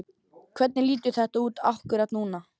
Hvernig lítur þetta út akkúrat núna?